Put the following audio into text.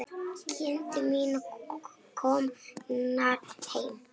Kindur mínar komnar heim.